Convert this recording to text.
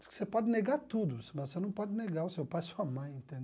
Você pode negar tudo, mas você não pode negar o seu pai e sua mãe, entendeu?